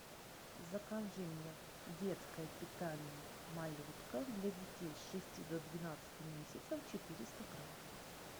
закажи мне детское питание малютка для детей с шести до двенадцати месяцев четыреста грамм